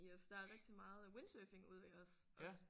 Yes der er rigtig meget windsurfing ude ved os også